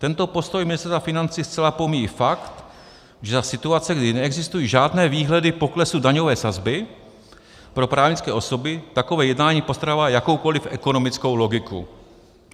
Tento postoj Ministerstva financí zcela pomíjí fakt, že za situace, kdy neexistují žádné výhledy poklesu daňové sazby pro právnické osoby, takové jednání postrádá jakoukoliv ekonomickou logiku.